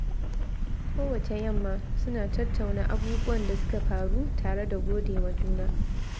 Kowacce yamma, suna tattauna abubuwan da suka faru tare da gode wa juna.